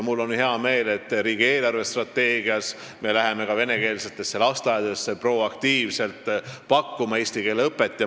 Mul on hea meel, et riigi eelarvestrateegia näeb ette, et me läheme ka venekeelsetesse lasteaedadesse proaktiivselt eesti keele õpet pakkuma.